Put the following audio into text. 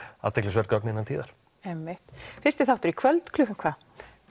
athyglisverð gögn innan tíðar einmitt fyrsti þáttur í kvöld klukkan hvað